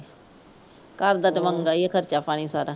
ਕਰਦਾ ਤੇ ਮੰਗਾ ਹੀ ਖਰਚਾ ਪਾਣੀ ਸਾਰਾ।